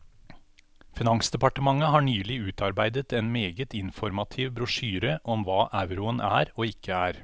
Finansdepartementet har nylig utarbeidet en meget informativ brosjyre om hva euroen er og ikke er.